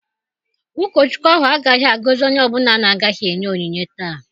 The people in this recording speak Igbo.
Ụkọchukwu ahụ agaghị agọzi onye ọ bụla na-agaghị enye onyinye taa.